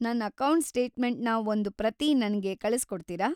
ನನ್ ಅಕೌಂಟ್‌ ಸ್ಟೇಟ್ಮೆಂಟ್‌ನ ಒಂದು ಪ್ರತಿ ನಂಗೆ ಕಳಿಸ್ಕೊಡ್ತೀರಾ?